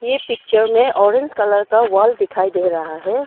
ई picture में orange colour का wall दिखाई दे रहा है।